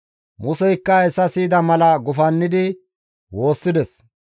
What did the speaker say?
Museykka hessa siyida mala gufannidi woossides.